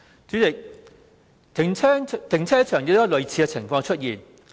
主席，停車場亦有類似的情況出現。